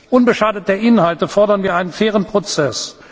Unbeschadet der Inhalte fordern wir einen fairen Prozess.